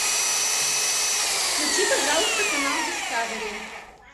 включи пожалуйста канал дискавери